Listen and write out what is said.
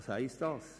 Was heisst das?